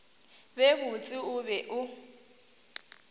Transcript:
be botse o be o